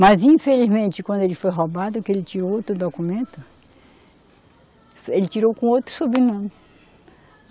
Mas, infelizmente, quando ele foi roubado, que ele tinha outro documento, ele tirou com outro sobrenome.